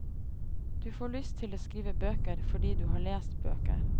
Du får lyst til å skrive bøker, fordi du har lest bøker.